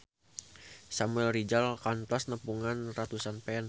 Samuel Rizal kantos nepungan ratusan fans